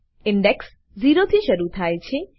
index zero થી શરુ થાય છે